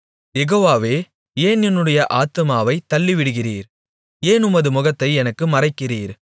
யெகோவாவே ஏன் என்னுடைய ஆத்துமாவைத் தள்ளிவிடுகிறீர் ஏன் உமது முகத்தை எனக்கு மறைக்கிறீர்